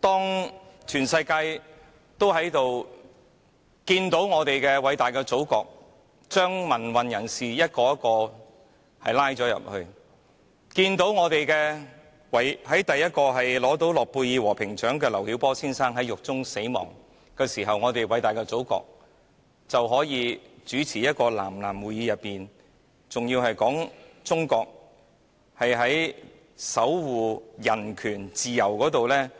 當全世界都看到我們偉大的祖國將一個又一個民運人士拘捕；當中國首位諾貝爾和平獎得主劉曉波先生在獄中死亡，而我們偉大的祖國卻在一個南南會議上說中國在守護人權和自由方面